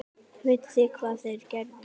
Vitið þið hvað þeir gerðu?